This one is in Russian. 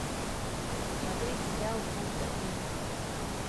смотреть сериал полтергейст